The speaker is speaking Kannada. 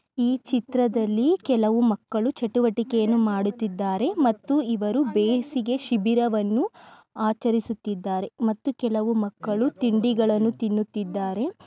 ಈ ಚಿತ್ರದಲ್ಲಿ ಕೆಲವು ಮಕ್ಕಳು ಚಟುವಟಿಕೆಯನ್ನು ಮಾಡುತ್ತಿದ್ದಾರೆ ಮತ್ತು ಇವರು ಬೇಸಿಗೆ ಶಿಬಿರವನ್ನು ಆಚರಿಸುತ್ತಿದ್ದಾರೆ ಮತ್ತು ಕೆಲವು ಮಕ್ಕಳು ತಿಂಡಿಗಳನ್ನು ತಿನ್ನುತ್ತಿದ್ದಾರೆ. ಒಬ್ಬ ವ್ಯಕ್ತಿ ಫೋಟೋವನ್ನು ತೆಗೆದಿಟ್ಟುಕೊಳ್ಳುತ್ತಿದ್ದಾನೆ ಮತ್ತು ಇನ್ನೊಬ್ಬ ವ್ಯಕ್ತಿಯೂ ಕೂಡ ಫೋಟೋವನ್ನು ತೆಗೆದುಕೊಳ್ಳುತ್ತಿದ್ದಾನೆ.